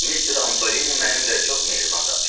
Mister Antolini mənimlə çox mehriban danışdı.